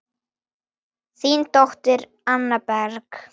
Þín dóttir, Anna Berg.